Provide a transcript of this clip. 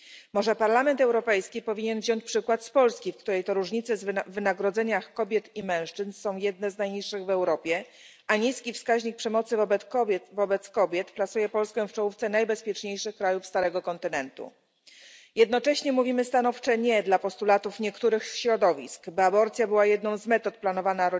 Może Parlament Europejski powinien wziąć przykład z Polski, w której to różnice w wynagrodzeniach kobiet i mężczyzn są jednymi z najniższych w Europie, a niski wskaźnik przemocy wobec kobiet plasuje Polskę w czołówce najbezpieczniejszych krajów Starego Kontynentu. Jednocześnie mówimy stanowcze nie dla postulatów niektórych środowisk, by aborcja była jedną z metod planowania